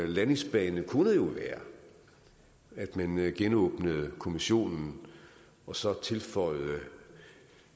landingsbane kunne være at man genåbnede kommissionen og så tilføjede